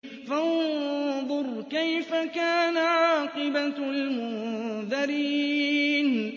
فَانظُرْ كَيْفَ كَانَ عَاقِبَةُ الْمُنذَرِينَ